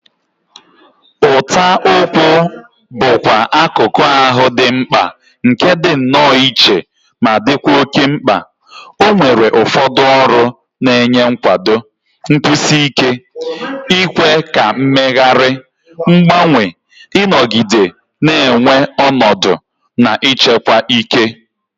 Ụta ụkwụ bụkwa akụkụ ahụ dị mkpa nke dị nnọọ iche ma dịkwa oke mkpa, ọ nwere ụfọdụ ọrụ na-enye nkwado, nkwụsi ike, ikwe ka mmegharị, mgbanwe, ịnọgide na-enwe ọnọdụ, na ịchekwa ike.